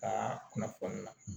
Ka kunnafoni na